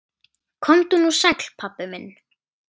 Komdu nú sæll, pabbi minn.